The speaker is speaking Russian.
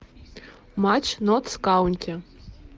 матч ноттс каунти